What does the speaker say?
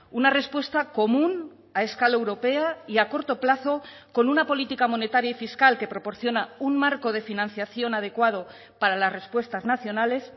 una respuesta común a escala europea y a corto plazo con una política monetaria y fiscal que proporciona un marco de financiación adecuado para las respuestas nacionales